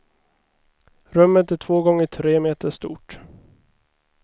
Rummet är två gånger tre meter stort.